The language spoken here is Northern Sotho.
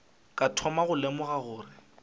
ka thoma go lemoga gore